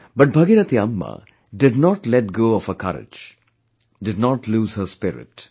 But Bhagirathi Amma did not let go of her courage, did not lose her spirit